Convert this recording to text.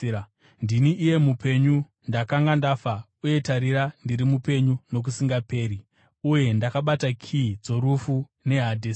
Ndini iye Mupenyu; ndakanga ndafa, uye tarira, ndiri mupenyu nokusingaperi-peri! Uye ndakabata kiyi dzorufu neHadhesi.